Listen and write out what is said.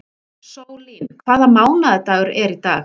Sólín, hvaða mánaðardagur er í dag?